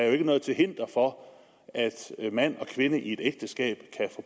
jo ikke noget til hinder for at mand og kvinde i et ægteskab